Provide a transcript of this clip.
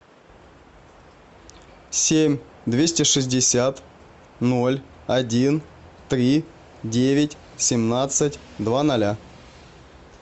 семь двести шестьдесят ноль один три девять семнадцать два ноля